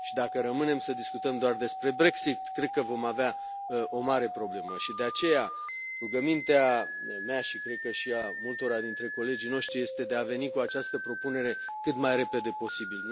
Și dacă rămânem să discutăm doar despre Brexit, cred că vom avea o mare problemă și, de aceea, rugămintea mea și cred că și a multora dintre colegii noștri este de a veni cu această propunere cât mai repede posibil.